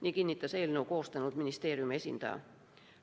Nii kinnitas eelnõu koostanud ministeeriumi esindaja.